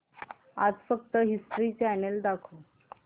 आज फक्त history channel दाखव